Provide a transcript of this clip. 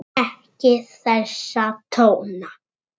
Ekki þessa tóna!